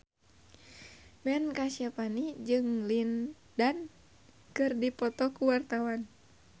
Ben Kasyafani jeung Lin Dan keur dipoto ku wartawan